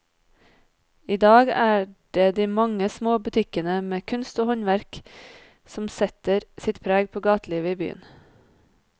I dag er det de mange små butikkene med kunst og håndverk som setter sitt preg på gatelivet i byen.